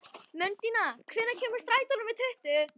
Mundína, hvenær kemur strætó númer tuttugu?